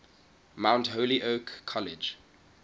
mount holyoke college